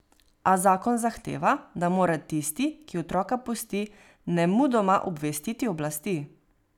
A zakon zahteva, da mora tisti, ki otroka pusti, nemudoma obvestiti oblasti.